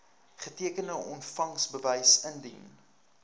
getekende ontvangsbewys indien